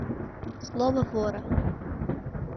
слово вора